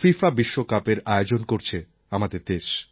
FIFA বিশ্বকাপের আয়োজন করছে আমাদের দেশ